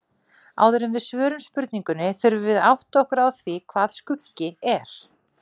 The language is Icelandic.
Áður en við svörum spurningunni þurfum við að átta okkur á því hvað skuggi er.